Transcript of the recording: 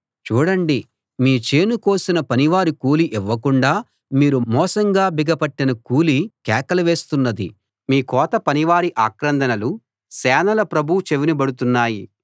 చూడండి మీ చేను కోసిన పనివారి కూలీ ఇవ్వకుండా మీరు మోసంగా బిగపట్టిన కూలీ కేకలు వేస్తున్నది మీ కోతపని వారి ఆక్రందనలు సేనల ప్రభువు చెవిని బడుతున్నాయి